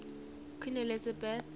queen elizabeth